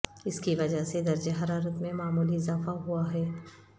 اس کی وجہ سے درجہ حرارت میں معمولی اضافہ ہوا ہے